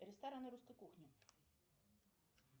рестораны русской кухни